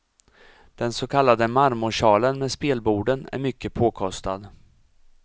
Den så kallade marmorsalen med spelborden är mycket påkostad.